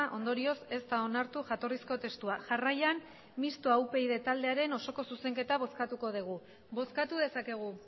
ondorioz ez da onartu jatorrizko testua jarraian mistoa upyd taldearen osoko zuzenketa bozkatuko dugu bozkatu dezakegu